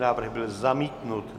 Návrh byl zamítnut.